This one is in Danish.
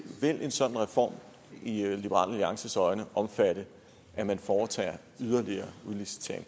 en sådan reform i i liberal alliances øjne omfatte at man foretager en yderligere udlicitering